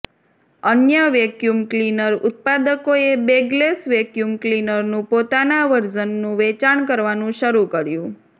અન્ય vacuum cleaner ઉત્પાદકોએ bagless vacuum ક્લિનરનું પોતાના વર્ઝનનું વેચાણ કરવાનું શરૂ કર્યું